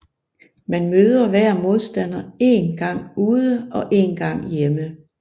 Man møder hver modstander én gang ude og én gang hjemme